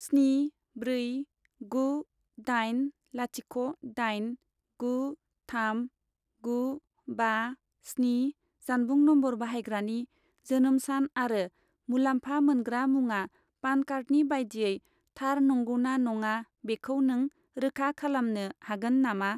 स्नि ब्रै गु दाइन लाथिख' दाइन गु थाम गु बा स्नि जानबुं नम्बर बाहायग्रानि जोनोम सान आरो मुलाम्फा मोनग्रा मुङा पान कार्डनि बायदियै थार नंगौना नङा बेखौ नों रोखा खालामनो हागोन नामा?